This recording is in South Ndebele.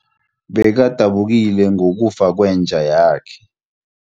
Bekadabukile ngokufa kwenja yakhe.